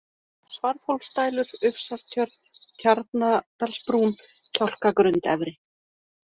Svarfhólsdælur, Ufsartjörn, Tjarnadalsbrún, Kjálkagrund efri